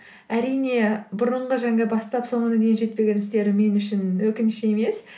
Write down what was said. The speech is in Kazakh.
әрине бұрынғы бастап соңына дейін жетпеген істерім мен үшін өкініш емес